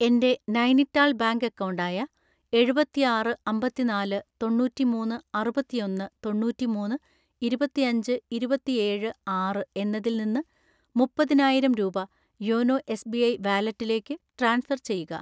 എൻ്റെ Nainital bank account ആയ എഴുപത്തിആറ് അമ്പത്തിനാല് തൊണ്ണൂറ്റിമൂന്ന് അറുപത്തിഒന്ന് തൊണ്ണൂറ്റിമൂന്ന് ഇരുപത്തിഅഞ്ച് ഇരുപത്തിഏഴ് ആറ് എന്നതിൽ നിന്ന് മുപ്പത്താനായിരം രൂപ യോനോ എസ്.ബി.ഐ വാലറ്റിലേക്ക് ട്രാൻസ്ഫർ ചെയ്യുക.